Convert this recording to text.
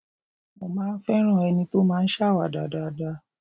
Mo máa ń ń fẹ́ràn ẹni tó máa ń ṣàwàdà dáadáa